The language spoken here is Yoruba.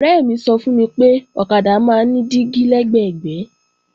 Ọ̀rẹ́ mi sọ fún mi pé ọ̀kadà máa ń ní dígí lẹ́gbẹ̀gbẹ́